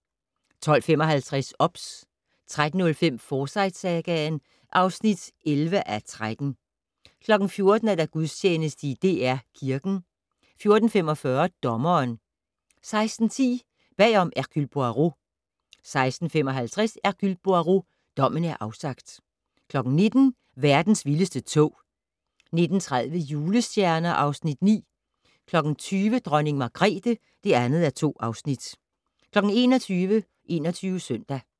12:55: OBS 13:05: Forsyte-sagaen (11:13) 14:00: Gudstjeneste i DR Kirken 14:45: Dommeren 16:10: Bag om "Hercule Poirot" 16:55: Hercule Poirot: Dommen er afsagt 19:00: Verdens vildeste tog 19:30: Julestjerner (Afs. 9) 20:00: Dronning Margrethe (2:2) 21:00: 21 Søndag